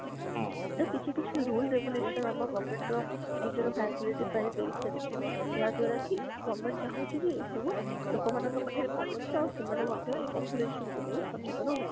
ତ କିଛି କିଛି rule regulation ଆମ government ର ନିଜ facility ପାଇଁ ଦେଇ ସାରିଛି ଯାହା ଦ୍ବାରା କି government ଚାହୁଁଛି କି ଏଇ ସବୁ ଲୋକ ମାନକ ପାଖରେ ପହଞ୍ଚ ସେମାନେ ମଧ୍ୟ population କୁ ନେଇ ସଚେତନ ହୁଅନ୍ତୁ